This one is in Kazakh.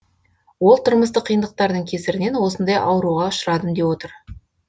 ол тұрмыстық қиындықтардың кесірінен осындай ауруға ұшырадым деп отыр